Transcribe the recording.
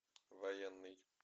военный